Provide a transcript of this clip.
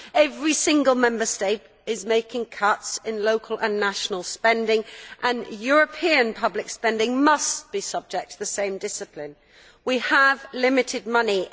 Every single Member State is making cuts in local and national spending and European public spending must be subject to the same discipline. We have limited money.